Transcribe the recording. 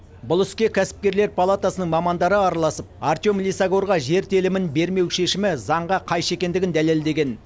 бұл іске кәсіпкерлер палатасының мамандары араласып артем лисагорға жер телімін бермеу шешімі заңға қайшы екендігін дәлелдеген